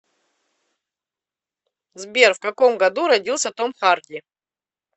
сбер в каком году родился том харди